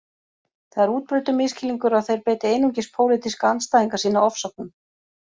Það er útbreiddur misskilningur að þeir beiti einungis pólitíska andstæðinga sína ofsóknum